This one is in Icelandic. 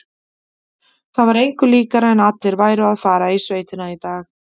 Það var engu líkara en allir væru að fara í sveitina í dag.